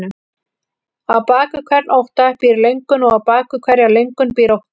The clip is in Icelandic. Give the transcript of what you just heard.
Á bak við hvern ótta býr löngun og á bak við hverja löngun býr ótti.